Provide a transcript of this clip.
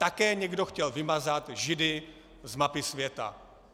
Také někdo chtěl vymazat Židy z mapy světa.